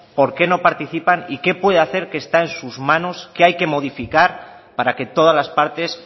por qué no participan y qué puede hacer que está en sus manos qué hay que modificar para que todas las partes